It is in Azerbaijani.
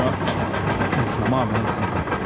Amma bu tamamilə sizdən asılıdır.